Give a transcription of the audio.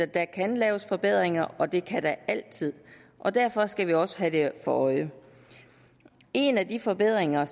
der kan laves forbedringer og det kan der altid og derfor skal vi også have det for øje en af de forbedringer